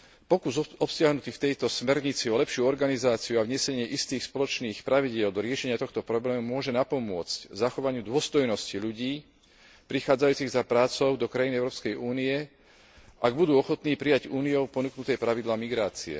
Pokus obsiahnutý v tejto smernici o lepšiu organizáciu a vnesenie istých spoločných pravidiel do riešenia tohto problému môže napomôcť zachovanie dôstojnosti ľudí prichádzajúcich za prácou do krajín Európskej únie, ak budú ochotní prijať Úniou ponúknuté pravidlá migrácie.